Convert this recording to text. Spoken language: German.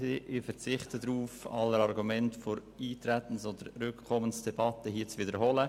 Ich verzichte darauf, alle Argumente der Eintretens- oder Rückkommensdebatte zu wiederholen.